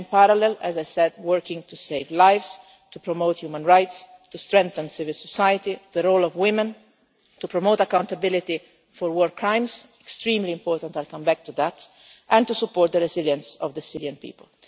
and in parallel, as I said, working to save lives, to promote human rights, to strengthen civil society, the role of women, to promote accountability for war crimes that is extremely important, and I will come back to that and to support the resilience of the Syrian people.